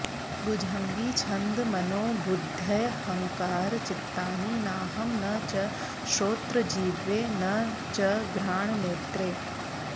भुजङ्गी छन्द मनोबुद्ध्यहङ्कारचित्तानि नाहं न च श्रोत्रजिह्वे न च घ्राणनेत्रे